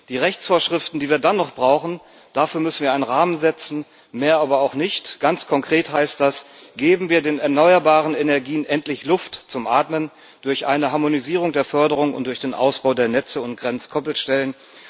Für die Rechtsvorschriften, die wir dann noch brauchen, müssen wir einen Rahmen setzen, mehr aber auch nicht. Ganz konkret heißt das Geben wir den erneuerbaren Energien endlich Luft zum Atmen durch eine Harmonisierung der Förderung und durch den Ausbau der Netze und Grenzkoppelstellen.